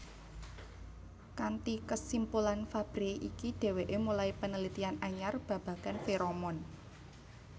Kanti kesimpulan Fabre iki deweke mulai penelitian anyar babagan feromon